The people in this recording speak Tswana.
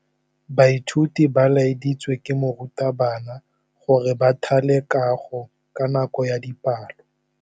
Baithuti ba laeditswe ke morutabana gore ba thale kagô ka nako ya dipalô.